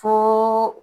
Fo